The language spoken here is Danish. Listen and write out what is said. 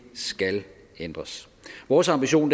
skal ændres vores ambition